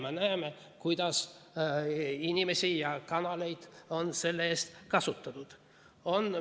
Me näeme, kuidas inimesi ja kanaleid on selle eest.